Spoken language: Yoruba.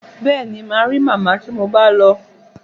Bẹ́ẹ̀ni, màá rí màmá tí mo bá lọ.